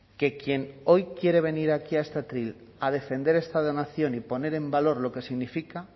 que quien hoy quiere venir aquí a este atril a defender esta donación y poner en valor lo que significa